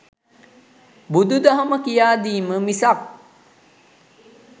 බුදුදහම කියා දීම මිසක්